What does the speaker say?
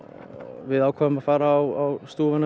við ákváðum að fara á stúfana við